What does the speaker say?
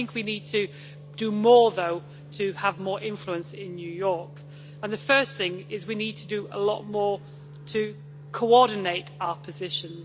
I think we need to do more, though, to have more influence in New York, and the first thing is we need to do a lot more to coordinate our positions.